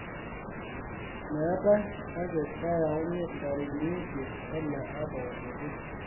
meetae kake keyauni ntarikini isiet ele apa olotu